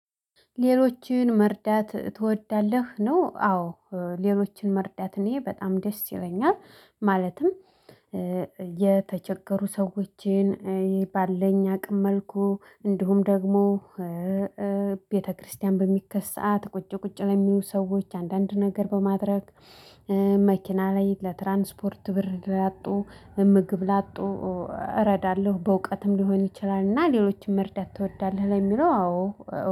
ሌሎችን መርዳት ትወዳለህ ነው? አዎ ሌሎችን መርዳት እኔ በጣም ደስ ይለኛል። ማለትም የተቸገሩ ሰዎችን ባለኝ አቅም መልኩ እንዲሁም ደግሞ። ቤተክርስቲያን በሚኬድ ሰዓት ቁጭ ቁጭ ለሚሉ ሰዎች አንዳንድ ነገር በማድረግ። መኪና ላይ ለትራንስፖርት ብር ላጡ ምግብ ላጡ እረዳለሁ። በእውቀትም ሊሆን ይችላል እና ሌሎችም መርዳት ትወዳለህ ለሚለው አዎ